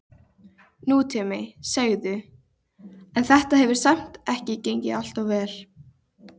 Nútíminn, segirðu, en þetta hefur samt ekki gengið alltof vel?